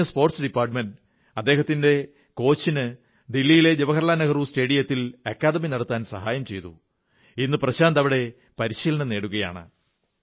ഇതറിഞ്ഞ sports department അദ്ദേഹത്തിന്റെ കോച്ചിന് ദില്ലിയിലെ ജവാഹർലാൽ നെഹ്റു സ്റ്റേഡിയത്തിൽ അക്കാദമി നടത്താൻ സഹായം ചെയ്തു ഇന്നു പ്രശാന്ത് അവിടെ പരിശീലനം നേടുകയാണ്